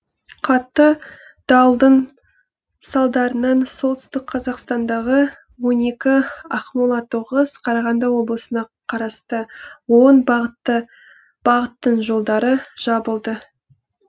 қатты дауылдың салдарынан солтүстік қазақстандағы он екі ақмолада тоғыз қарағанды облысына қарасты он бағыттың жолдары жабылды